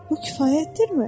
Bu kifayətdirmi?